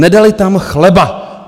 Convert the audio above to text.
Nedali tam chleba.